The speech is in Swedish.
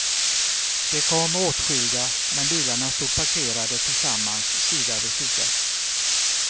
De kom åtskilda men bilarna stod parkerade tillsammans sida vid sida.